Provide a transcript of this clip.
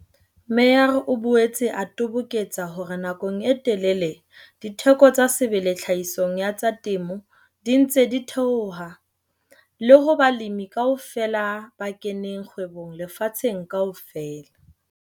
Meyer o boetse a toboketsa hore nakong e telele ditheko tsa sebele tlhahisong ya tsa temo di ntse di theoha, le ho balemi kaofela ba keneng kgwebong lefatsheng kaofela.